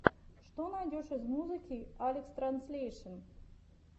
что найдешь из музыки алекстранслейшен